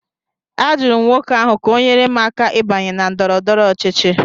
Ajụrụ m nwoke ahụ ka ọ nyere m aka ịbanye na ndọrọ ndọrọ ọchịchị